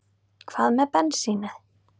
Hvað með bensínið?